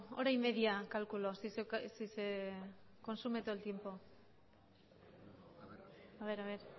hora y media calculo si se consume todo el tiempo a ver a ver